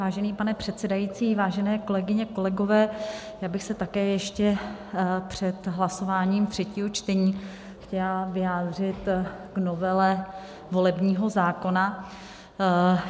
Vážený pane předsedající, vážené kolegyně, kolegové, já bych se také ještě před hlasováním třetího čtení chtěla vyjádřit k novele volebního zákona.